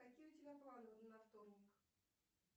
какие у тебя планы на вторник